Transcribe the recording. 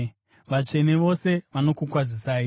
Vatsvene vose vanokukwazisai.